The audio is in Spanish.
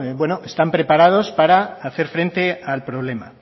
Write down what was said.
están preparados para hacer frente al problema